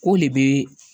K'o de be